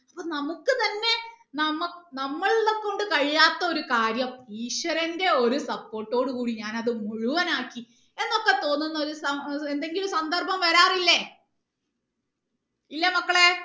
അപ്പൊ നമുക്ക് തന്നെ നമ്മ നമ്മളെ കൊണ്ട് കഴിയാത്ത ഒരു കാര്യം ഈശ്വരന്റെ ഒരു support ട് കൂടി ഞാൻ അത് മുഴുവനാക്കി എന്നൊക്കെ തോന്നുന്ന ഒരു സന്ദ എന്തെങ്കിലും സന്ദർഭം വരാറില്ലേ ഇല്ലേ മക്കളേ